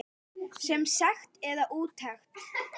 Sem sekt eða úttekt?